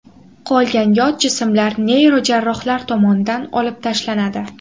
Qolgan yot jismlar neyrojarrohlar tomonidan olib tashlanadi.